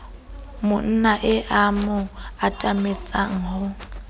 monnae a mo atametsa ho